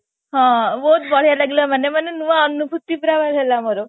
ହଁ ବହୁତ ବଢିଆ ଲାଗିଲା ମାନେ ମାନେ ନୂଆ ଅନୁଭୂତି ହେଲା ମୋର